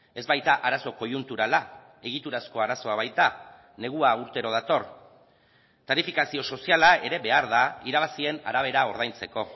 ez baita arazo koiunturala egiturazko arazoa baita negua urtero dator tarifikazio soziala ere behar da irabazien arabera ordaintzeko